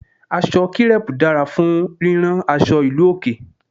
Aṣọ kírẹ́pù dára fún rírán aṣọ ìlú òkè.